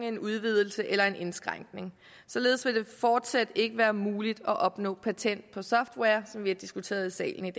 en udvidelse eller en indskrænkning således vil det fortsat ikke være muligt at opnå patent på software som vi har diskuteret i salen i